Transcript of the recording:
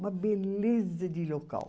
Uma beleza de local.